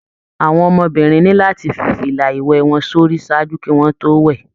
Àwọn ọmọbìnrin ni láti fí fila iwẹ wọn sórí ṣáájú kí wọn to wẹ.